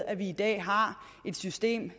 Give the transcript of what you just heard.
at vi i dag har et system